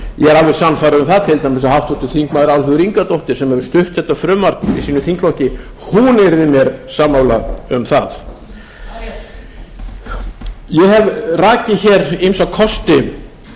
alveg sannfærður um það að til dæmis háttvirtir þingmenn álfheiður ingadóttir sem hefur stutt þetta frumvarp í sínum þingflokki hún yrði mér sammála um það ég hef rakið hér ýmsa kosti